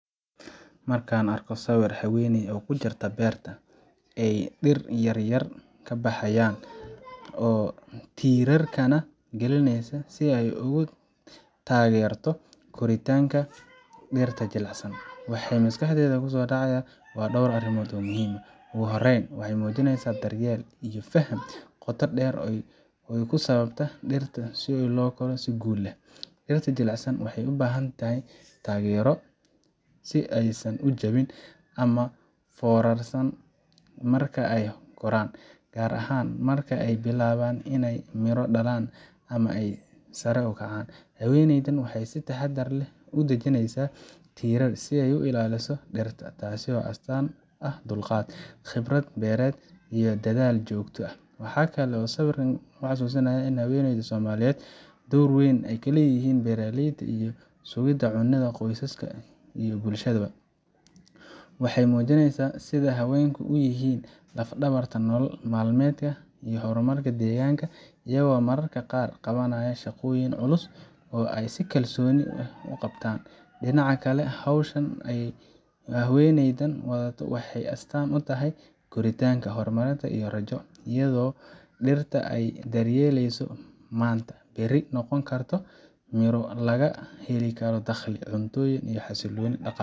Marka aan arko sawirka haweeney ku jirta beer ay dhir yar yar ka baxayaan oo tiirarkana gelinaysa si ay uga taageerto koritaanka dhirta jilicsan, waxa maskaxdayda ku soo dhacaya dhowr arrimood oo muhiim ah. Ugu horreyn, waxay muujinaysaa daryeel iyo faham qoto dheer oo ku saabsan sida dhirta loo koro si guul leh. Dhirta jilicsan waxay u baahan yihiin taageero si aysan u jabin ama u foorarsan marka ay koraan, gaar ahaan marka ay bilaabaan inay miro dhalaan ama ay sare u kacaan. Haweeneydan waxay si taxaddar leh ugu dhejinaysaa tiirar si ay u ilaaliso dhirta, taasoo astaan u ah dulqaad, khibrad beereed, iyo dadaal joogto ah. Waxa kale oo sawirka uu xusuusinayaa in haweenka Soomaaliyeed door weyn ku leeyihiin beeraleyda iyo sugidda cunada qoysaska iyo bulshadaba. Waxay muujineysaa sida haweenku u yihiin laf-dhabarta nolol maalmeedka iyo horumarka deegaanka, iyagoo mararka qaar qabanaya shaqooyin culus oo ay si kalsooni leh u qabtaan. Dhinaca kale, hawsha ay haweeneydan wado waxay astaan u tahay koritaanka, horumarka iyo rajo iyadoo dhirta ay daryeelayso maanta, berri noqon doonto midho laga helo dakhli, cunto, iyo xasilooni dhaqaale.